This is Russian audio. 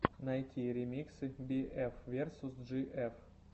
найти ремиксы би эф версус джи эф